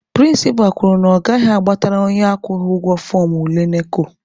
Prịnsịpa kwuru na ọ gaghị agbatara onye akwụghị ụgwọ fọọmụ ule NECO.